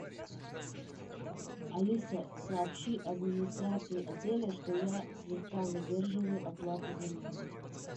алиса сообщи администрации отеля что я слегка задерживаю оплату за номер